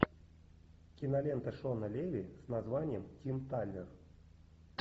кинолента шона леви с названием тим талер